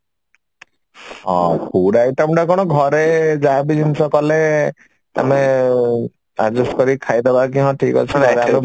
ହଁ food item ଟା କଣ ଘରେ ଯାହା ବି ଜିନିଷ କଲେ ମାନେ adjust କରି ଖାଇଦବା କି ହଁ ଠିକ ଅଛି